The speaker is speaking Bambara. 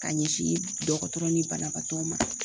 Ka ɲɛsin dɔgɔtɔrɔ ni banabaatɔw ma.